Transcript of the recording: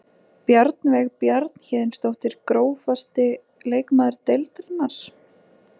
Bjarnveig Bjarnhéðinsdóttir Grófasti leikmaður deildarinnar?